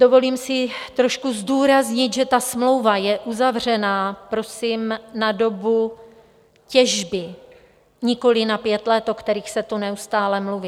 Dovolím si trošku zdůraznit, že ta smlouva je uzavřena prosím na dobu těžby, nikoliv na pět let, o kterých se tu neustále mluví.